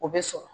O bɛ sɔrɔ